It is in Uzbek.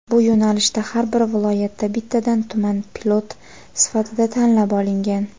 Bu yo‘nalishda har bir viloyatda bittadan tuman pilot sifatida tanlab olingan.